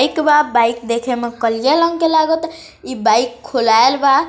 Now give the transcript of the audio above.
एक बा बाईक देखे मे कलिया रंग के लगाता इ बाइक खुलेल बा।